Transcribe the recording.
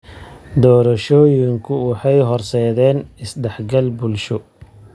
Doorashooyinku waxay horseedeen is dhexgal bulsho.